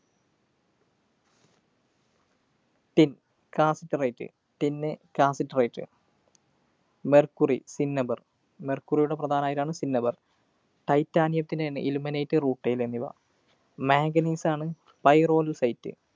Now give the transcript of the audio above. Tincassiterite. Tin ന്ന് cassiterite. Mercury, cinnabar. mercury യുടെ പ്രധാന അയിരാണ് cinnabar. Titanium ത്തിന് ilmenite rutile എന്നിവ. manganese ആണ് pyrolusite.